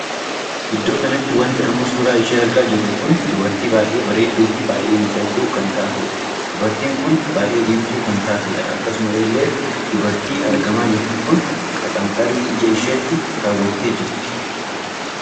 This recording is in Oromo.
Iddoo kanatti wanti amma suuraa ishee argaa jirru kun dubartii baay'ee bareedduu fi baay'ee miidhagduu kan taateedha. dubartiin kun baay'ee diimtuu kan taateedha. akkasuma illee dubartii argamaa jirtu kun maxanxarii ija isheetti kawwatteejirti.